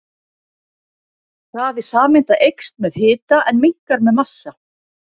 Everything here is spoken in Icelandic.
Hraði sameinda eykst með hita en minnkar með massa.